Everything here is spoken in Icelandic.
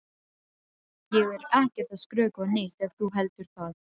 Ég er ekkert að skrökva neitt ef þú heldur það.